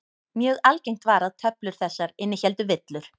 Mjög algengt var að töflur þessar innihéldu villur.